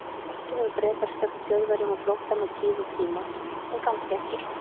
Kannski hefðu Bretar stökkt Þjóðverjum á flótta með tíð og tíma, en kannski ekki.